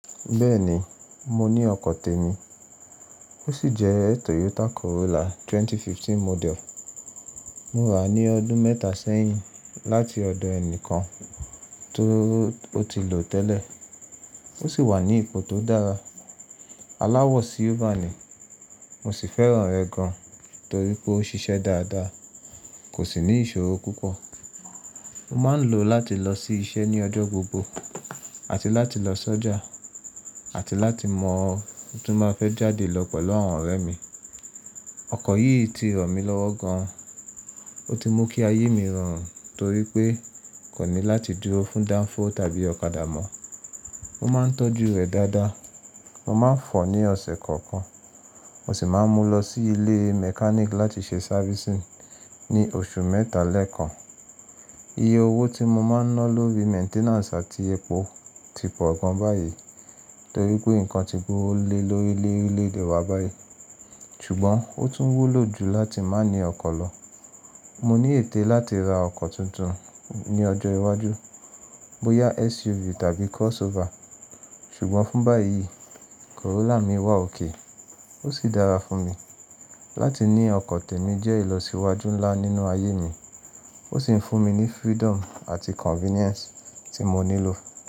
Bẹ́ẹ̀ni, mo ní ọkọ̀ tèmi, ó sì jẹ́ Toyota Corolla 2015 model. Mo ra ní ọdún mẹ́ta sẹ́yìn láti ọ̀dọ̀ ẹnì kan tó ti lò ó tẹ́lẹ̀. Ó sì wà ní ipò tó dára, aláwọ̀ silver ni. Mo sì fẹ́ràn rẹ̀ gan, torí pé ó ń ṣiṣẹ́ dáadáa, kò sì ní ìṣòro púpọ̀. Mo máa ń lò ó láti lọ sí iṣẹ́ ní ọjọ́ gbogbo àti láti lọ sọ́jà, àti láti mọ́ ọ bí mo bá fẹ́ jáde lọ pẹ̀lú àwọn ọ̀rẹ́ mi. Ọkọ̀ yìí ti ràn mí lọ́wọ́ gan, ó ti mú kí ayé mi rọrùn torí pé nkò ní láti dúró fún danfo tàbí ọ̀kadà mọ́. Mo máa ń tọ́jú rẹ̀ dáadáa, mo máa ń fọ̀ ọ́ ní ọ̀sẹ̀ kọ̀ọ̀kan. Mo sì máa ń mú lọ sí ilé mechanic láti ṣe servicing ní oṣù mẹ́ta lẹ́ẹ̀kan. Iye owó tí mo máa ń ná lórí maintenance àti epo ti pọ̀ gan báyìí torí pé nǹkan ti gbówo lé lórí lorile ede wá báyìí ṣùgbọ́n ó tún wúlò jù láti má ní ọkọ̀ lọ. Mo ní ète láti ra ọkọ̀ tuntun ní ọjọ́ iwájú, bóyá SUV tàbí crossover, ṣùgbọ́n fún báyìí, Corolla mi wà okay ó sì dára fún mi. Láti ní ọkọ̀ tèmi jẹ́ ìlọsíwájú ńlá nínú ayé mi, ó sì ń fún mi ní freedom àti convenience tí mo nílò.